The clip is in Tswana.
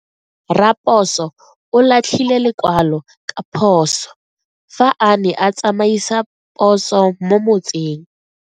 Raposo o latlhie lekwalo ka phoso fa a ne a tsamaisa poso mo motseng.